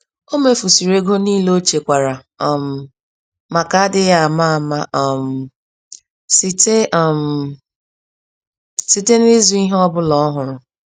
Omefusịrị égo nile ochekwara um màkà adịghị àmà-àmà um site um site n'ịzụ ìhè ọbula ọhụrụ.